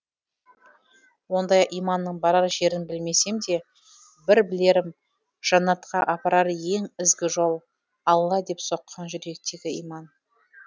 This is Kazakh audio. ондай иманның барар жерін білмесем де бір білерім жаннатқа апарар ең ізгі жол алла деп соққан жүректегі иман